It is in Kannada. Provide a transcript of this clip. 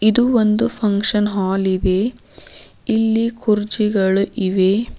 ಇದು ಒಂದು ಫಂಕ್ಷನ್ ಹಾಲ್ ಇದೆ ಇಲ್ಲಿ ಕುರ್ಚಿಗಳು ಇವೆ.